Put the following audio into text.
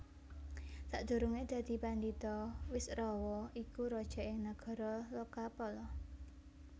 Sakdurungé dadi pandhita Wisrawa iku raja ing Nagara Lokapala